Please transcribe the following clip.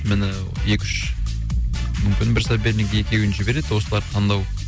міні екі үш мүмкін бір соперник екеуін жібереді осыларды таңдау